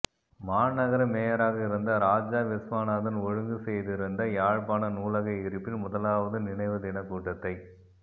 மாநகர மேயராக இருந்த இராஜா விஸ்வநாதன் ஒழுங்குசெய்திருந்த யாழ்ப்பாண நூலக எரிப்பின் முதலாவது நினைவுதினக்கூட்டத்தை